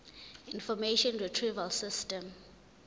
information retrieval system